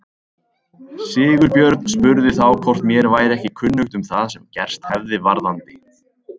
Sigurbjörn spurði þá hvort mér væri ekki kunnugt um það sem gerst hefði varðandi